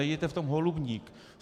Nedělejte v tom holubník.